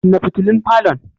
Kunna fitulun falon.